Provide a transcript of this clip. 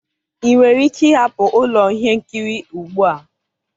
ị nwere ike ịhapụ ụlọ ihe nkiri ugbu a?